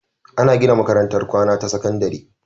Ana gina makarantar kwAna ta sakandari